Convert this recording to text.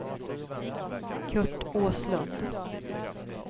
Curt Åslund